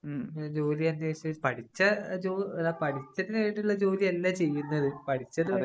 മ്, ജോലിയന്വേഷിച്ച്, പഠിച്ച ജോലിയല്ല പഠിച്ചു കഴിഞ്ഞിട്ടുള്ള ജോലി അല്ല ചെയ്യുന്നത്. പഠിച്ചത് വേറെ.